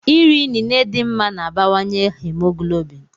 Iri inine dị mma na-abawanye haemoglobin.